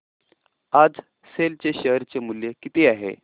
आज सेल चे शेअर चे मूल्य किती आहे